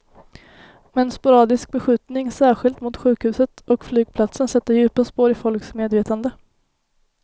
Men sporadisk beskjutning, särskilt mot sjukhuset och flygplatsen, sätter djupa spår i folks medvetande.